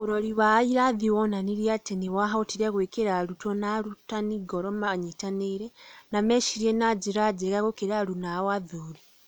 Urori wa irathi wonanirie atĩ nĩ maahotire gwĩkĩra arutwo na arutani ngoro manyitanĩre na mecirie na njĩra njega gũkĩra aruna ao athuri.